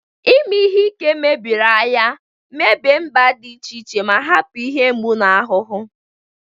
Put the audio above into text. Ime ihe ike mebiri agha, mebie mba dị iche iche, ma hapụ ihe mgbu na ahụhụ.